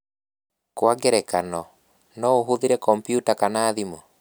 Kwa ngerekano, no ũhũthĩre kompiuta kana thimũ.